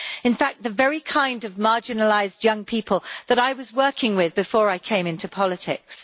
In fact, the very kind of marginalised young people that I was working with before I came into politics.